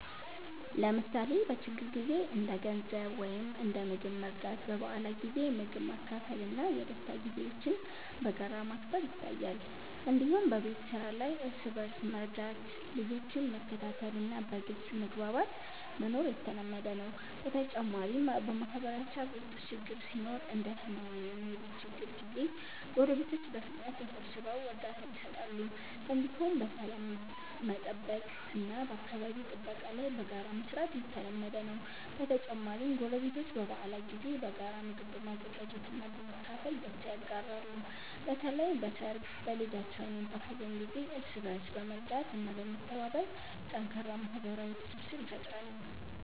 ለምሳሌ በችግር ጊዜ እንደ ገንዘብ ወይም እንደ ምግብ መርዳት፣ በበዓላት ጊዜ ምግብ ማካፈል እና የደስታ ጊዜዎችን በጋራ ማክበር ይታያል። እንዲሁም በቤት ስራ ላይ እርስ በእርስ መርዳት፣ ልጆችን መከታተል እና በግልጽ መግባባት መኖር የተለመደ ነው። በተጨማሪም በማህበረሰብ ውስጥ ችግር ሲኖር እንደ ሕመም ወይም የቤት ችግር ጊዜ ጎረቤቶች በፍጥነት ተሰብስበው እርዳታ ይሰጣሉ። እንዲሁም በሰላም መጠበቅ እና በአካባቢ ጥበቃ ላይ በጋራ መስራት የተለመደ ነው። በተጨማሪም ጎረቤቶች በበዓላት ጊዜ በጋራ ምግብ በመዘጋጀት እና በማካፈል ደስታ ይጋራሉ። በተለይ በሰርግ፣ በልደት ወይም በሀዘን ጊዜ እርስ በእርስ በመርዳት እና በመተባበር ጠንካራ ማህበራዊ ትስስር ይፈጥራሉ።